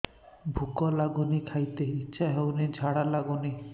ଭୁକ ଲାଗୁନି ଖାଇତେ ଇଛା ହଉନି ଝାଡ଼ା ଲାଗୁନି